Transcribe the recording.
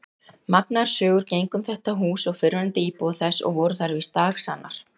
Magnaðar sögur gengu um þetta hús og fyrrverandi íbúa þess og voru þær víst dagsannar.